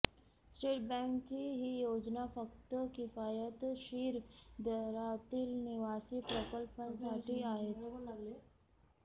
state बॅंकेची ही योजना फक्त किफायतशीर दरातील निवासी प्रकल्पांसाठी आहेत